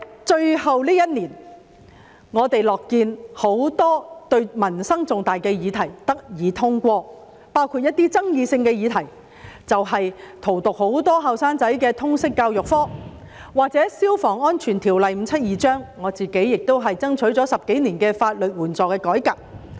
在最後這一年，我們樂見很多民生重大議題得以通過，包括一些具爭議性的議題，例如荼毒很多年輕人的通識教育科、關於《消防安全條例》的修訂，以及我自己爭取了10多年的法律援助的改革。